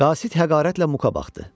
Qasid həqarətlə Muqa baxdı.